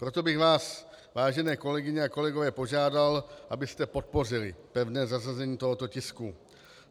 Proto bych vás, vážené kolegyně a kolegové, požádal, abyste podpořili pevné zařazení tohoto tisku.